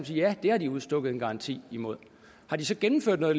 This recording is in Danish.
sige ja det har de udstukket en garanti imod har de så gennemført noget